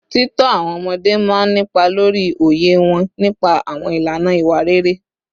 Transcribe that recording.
Títọ́ àwọn ọmọdé máa ń nípa lórí òye wọn nípa àwọn ìlànà ìwà rere